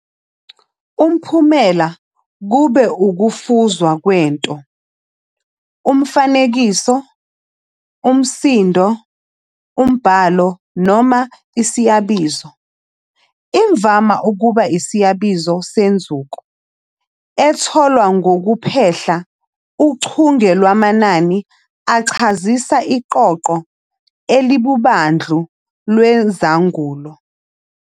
Umphumela kube ukufuzwa kwento, umfanekiso, umsindo, umbhalo, noma isiyabizo, imvama kuba isiyabizo senzuko, etholwe ngokuphehla uchunge lwamanani achazisa iqoqo elilubandlu lwezangulo.